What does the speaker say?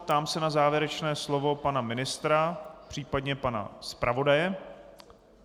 Ptám se na závěrečné slovo pana ministra, případně pana zpravodaje.